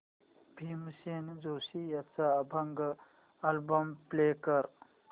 भीमसेन जोशी यांचा अभंग album play कर